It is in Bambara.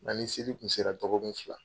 An ni seli kun sera dɔgɔkun fila